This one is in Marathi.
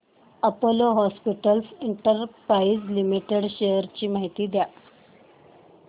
Apollo hospitals enterprise limited shares ची माहिती द्या